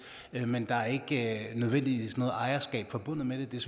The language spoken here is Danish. men der er ikke nødvendigvis noget ejerskab forbundet med det det er